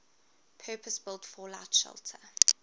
purpose built fallout shelter